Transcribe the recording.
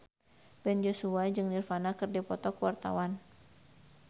Ben Joshua jeung Nirvana keur dipoto ku wartawan